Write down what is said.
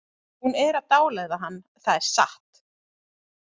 Hún er að dáleiða hann, það er satt!